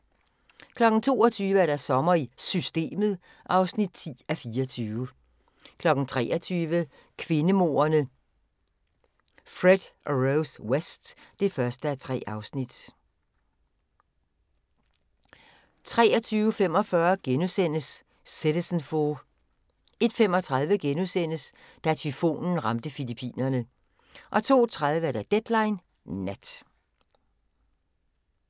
22:00: Sommer i Systemet (10:24) 23:00: Kvindemorderne Fred og Rose West (1:3) 23:45: Citizenfour * 01:35: Da tyfonen ramte Filippinerne * 02:30: Deadline Nat